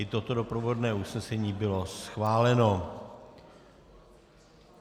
I toto doprovodné usnesení bylo schváleno.